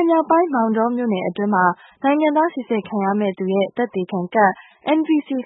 ည်နယ်မြောက်ပိုင်း မောင်တောမြို့နယ်အတွင်းမှာ နိုင်ငံသားစိစစ်ခံရမည့်သူရဲ့ သက်သေခံကဒ်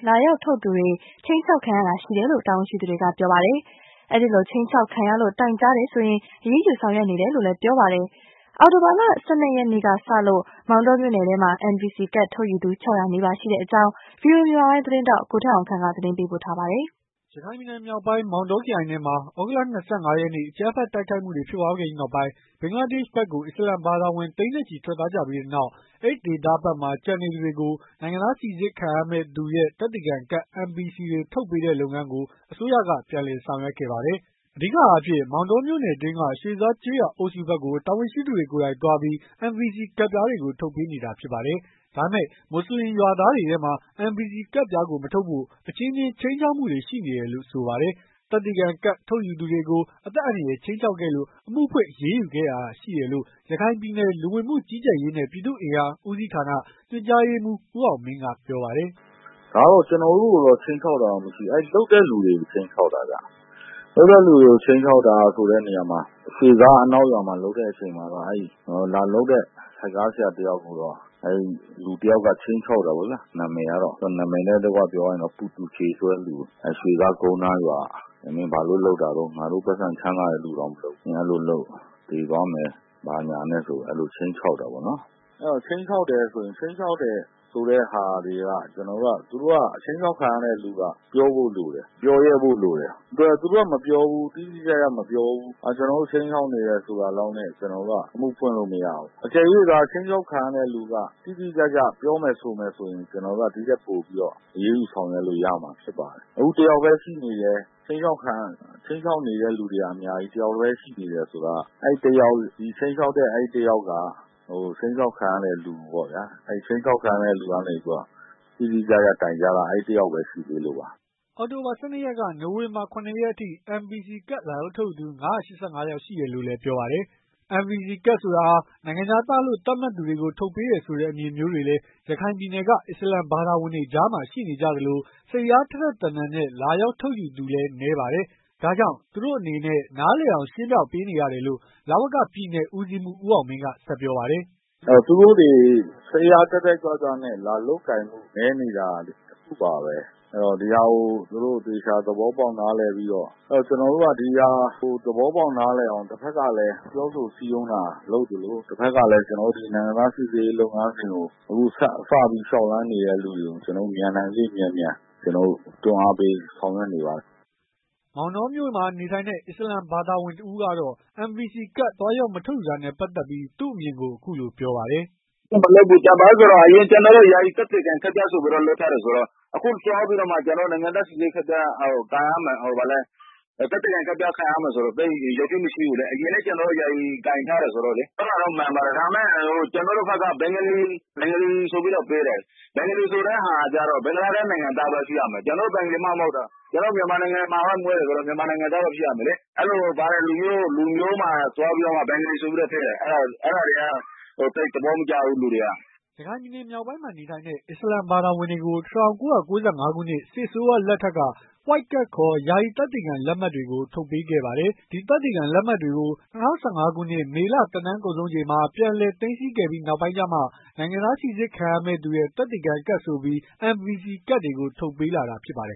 လာရောက် လုပ်သူတွေ ခြိမ်းခြောက်ခံရတာရှိတယ်လို့ တာဝန်ရှိသူတွေက ပြောပါတယ်။ အဲဒီလိုခြိမ်းခြောက်ခံရလို့ တိုင်ကြားတယ်ဆိုရင် အရေးယူဆောင်ရွက်နေတယ်လို့လည်း ဆိုပါတယ်။ အောက်တိုဘာ ၁၂ ရက်နေ့ကစလို့ မောင်တောမြို့နယ်ထဲမှာ NVC ကဒ်ထုတ်ယူသူ ၆၀၀ နီးပါးရှိတဲ့အကြောင်း VOA မြန်မာပိုင်း သတင်းထောက် ကိုထက်အောင်ခန့်က တင်ပြပေးပါမယ်။ ရခိုင်ပြည်နယ်မြောက်ပိုင်း မောတောခရိုင်ထဲမှာ သြဂုတ်လ ၂၅ ရက်နေ့အကြမ်းဖက်တိုက်ခိုက်မှုတွေဖြစ်ပွားခဲ့ပြီးနောက်ပိုင်း ဘင်္ဂလားဒေရှ့်ဖက်ကို အစ္စလာမ်ဘာသာဝင်သိန်းနဲ့ချီ ထွက်သွားကြပြီးနောက် အဲဒီဒေသဖက်မှာ ကျန်နေသူတွေကိုနိုင်ငံသားစိစစ်ခံရမည့်သူရဲ့ သက်သေခံကဒ် တွေကို ထုတ်ပေးတဲ့ လုပ်ငန်းကို အစိုးရက ပြန်လည်ဆောင်ရွက်ခဲ့ပါတယ်။ အဓိကအားဖြင့် မောင်တောမြို့နယ်အတွင်းက ရွှေဇားကျေးရွာအုပ်စုဖက်ကို တာဝန်ရှိသူတွေကိုယ်တိုင်သွားပြီး NVC ကဒ်ပြားတွေ ထုတ်ပေးနေတာဖြစ်ပါတယ်။ ဒါပေမဲ့ မွတ်ဆလင်ရွာသားတွေထဲမှာ NVC ကဒ်ပြားကို မထုတ်ဖို့ အချင်းချင်းခြိမ်းခြောက်မှုတွေ ရှိနေတယ်လို့ ဆိုပါတယ်။ သက်သေခံကဒ်ထုတ်ယူသူကို အသက်အန္တရာယ်ခြိမ်းခြောက်ခဲ့လို့ အမှုဖွင့်အရေးယူခဲ့ရတာရှိတယ်လို့ ရခိုင်ပြည်နယ်။ လူဝင်မှုကြီးကြပ်ရေးနဲ့ ပြည်သူ့အင်အားဦးစီဌာန ညွှန်ကြားရေးမှူး ဦးအောင်မင်းကပြောပါတယ်။ “ ဒါကတော့ ကျနော်တို့ကိုတော့ ခြိမ်းခြောက်တာမရှိဘူး လုပ်တဲ့လူတွေကို ခြိမ်းခြောက်တာခင်ဗျ။ လုပ်တဲ့လူတွေကို ခြိမ်းခြောက်တာဆိုတာက ရွှေဇားအနောက်ရွာမှာလုပ်တဲ့အချိန်မှာ လာလုပ်တဲ့ ဆိုက်ကားဆရာတယောက်ကိုတော့ လူတယောက်ကတော့ ခြိမ်းခြောက်တာပေါ့နော် ရွှေဇား ကုန်းနားရွာက ။ မင်းဘာလို့လုပ်တာလဲ ငါတို့ ပိုက်ဆံ ချမ်းသာတဲ့လူတွေတောင်မလုပ်ဘူး၊ ဘာလို့လုပ်တာလဲ သေသွားမယ် ဆိုပြီး ခြိမ်းခြောက်တာပေါ့နော်။ အဲဒီလို ခြိမ်းခြောက်တယ်ဆိုတာတွေ ခြိမ်းခြောက်ခံရတဲ့လူက ပြောဖို့တော့လိုတယ်။ ပြောရဲဖို့လိုတယ်၊ သူတို့က တိတိကျကျ မပြောဘူး၊ ကျနော်တို့ကို ခြိမ်းခြောက်နေတယ်ဆိုတာလောက်နဲ့ ကျနော်တို့က အမှုဖွင့်လို့မရဘူး။ အကယ်၍ ခြိမ်းခြောက်ခံရတဲ့လူက တိတိကျကျ ပြောမယ်ဆိုမယ်ဆိုရင် ကျနော်တို့က ဒီထက်ပိုပြီးတော့ အရေးယူဆောင်ရွက်လို့ရမှာဖြစ်ပါတယ်။ ခုက တယောက်ပဲရှိနေတယ် ခြိမ်းခြောက်နေတဲ့လူတွေကတော့ အများကြီး၊ ခြိမ်းခြောက်ခံရတာက တယောက်ပဲ ရှိနေတယ်ဆိုတော့ အခုက ခြိမ်းခြောက်ခံရတာက တိတိကျကျတိုင်တာက တယောက်တည်းရှိနေလို့ပါ။” အောက်တိုဘာ ၁၂ ရက်က နိုဝင်ဘာ ၇ ရက်အထိ NVC ကဒ် လာရောက်ထုတ်ယူသူ ၅၈၅ ယောက်ရှိတယ်လို့လည်း ပြောပါတယ်။ NVC ကဒ်ဆိုတာဟာ နိုင်ငံခြားသားလို့သတ်မှတ်သူတွေကို ထုတ်ပေးတာဆိုတဲ့အမြင်မျိုးတွေလည်း ရခိုင်ပြည်နယ်က အစ္စလာမ်ဘာသာဝင်တွေကြားမှာ ရှိနေကြသလို။ စိတ်အားထက်ထက်သန်သန်နဲ့ လာရောက်ထုတ်ယူသူလည်း နည်းပါတယ်။ဒါကြောင့် သူတို့အနေနဲ့ နားလည်အောင် ရှင်းပြပေးနေရတယ်လို့ လဝက ပြည်နယ်ဦးစီးမှူး ဦးအောင်မင်းက ဆက်ပြောပါတယ်။ “သူတို့တွေ တက်တက်ကြွကြွနဲ့ လာလုပ်ကိုင်မှု နည်းနေတာ တခုပါပဲ ဒီဟာကို သူတို့ကို သဘောပေါက်နားလည်ပြီးတော့လာဖို့လိုတယ်။ ကျနော်တို့ကလည်း ဒီဟာကို သဘောပေါက်နားလည်အောင်လည်း ပြောဆိုစည်းရုံးတာလုပ်သလို တဖက်ကလည်း ကျနော်တို့ ဒီ နိုင်ငံသား စိစစ်ရေးလုပ်ငန်းစဉ်ကို အခုစပြီးလုပ်နေတဲ့သူတွေကို ကျနော်တို့ မြန်နိုင်သရွေ့မြန်မြန်လုပ်အောင် တွန်းအားပေးဆောင်ရွက်နေပါတယ်။” မောင်တောမြို့မှာ နေထိုင်တဲ့ အစ္စလာမ်ဘာသာဝင်တစ်ဦးကတော့ NVC ကဒ် သွားရောက် မထုတ်ယူတာနဲ့ ပတ်သက်ပြီး သူ့အမြင်ကိုအခုလိုပြောပါတယ်။ “ ကျနော်တို့က အရင်က ယာယီသက်သေခံ ကဒ်ဆိုပြီးတော့ လုပ်ထားတယ်ဆိုတော့ အခုသွားပြီးတော့မှ နိုင်ငံသားစိစစ်ရေးကဒ်လုပ်ရမယ်ဆိုတော့ သိပ်သဘာဝမကျဘူးလေ။ အရင်က ကျနော်တို့ ယာယီလည်းကိုင်ထားတယ်ဆိုတော့ အဲဒါလည်း မှန်ပါတယ် ကျနော်တို့ကို ဘင်ဂါလီဆိုပြီးတော့ ပေးတယ်။ ကျနော်တို့တွေက ဘင်္ဂလားဒေ့ရှ်နိုင်ငံသားမှမဟုတ်တာ ။ ကျနော်တို့က မြန်မာနိုင်ငံမှာမွေးတယ်ဆိုတော့ မြန်မာနိုင်ငံသားပဲ ဖြစ်ရမယ်လေ။ အဲလို လူမျိုးမှာသွားပြီးတော့ ဘဂါလီဆိုပြီးတော့ ထည့်တယ် အဲဒါတွေက သိပ်သဘောမကျဘူး လူတွေက။” ရခိုင်ပြည်နယ်မြောက်ပိုင်းမှာနေထိုင်တဲ့ အစ္စလာမ်ဘာသာဝင်တွေကို ၁၉ ၉ ၅ ခုနှစ် စစ်အစိုးရလက်ထက်ထဲက White Card ခေါ် ယာယီသက်သေခံလက်မှတ်တွေ ထုတ်ပေးခဲ့ပါတယ်။ ဒီသက်သေခံလက်မှတ်တွေ ၂၀၁၅ ခုနှစ် မေလ သက်တမ်းကုန်ဆုံးချိန်မှာ ပြန်လည်သိမ်းဆည်းခဲ့ပြီးနောက်ပိုင်းကျမှ နိုင်ငံသားစိစစ်ခံရမည့်သူရဲ့ သက်သေခံကဒ်ဆိုပြီး NVC ကဒ်တွေကို ထုတ်ပေးလာတာဖြစ်ပါတယ်